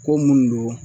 Ko minnu don